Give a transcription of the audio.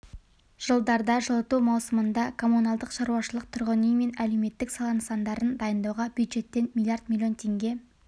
жылдарда жылыту маусымында коммуналдық шаруашылық тұрғын үй мен әлеуметтік сала нысандарын дайындауға бюджеттен миллиард миллион теңге